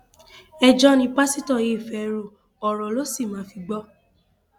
ẹjọ ni pásítọ yìí fẹẹ ro ọrọ ló sì máa fi gbọ